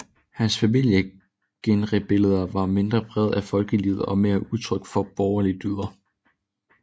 Hans familiegenrebilleder var mindre præget af folkelivet og mere udtryk for borgerlige dyder